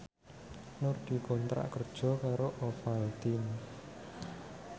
Nur dikontrak kerja karo Ovaltine